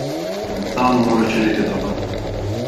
Enostavno moraš širiti dobro.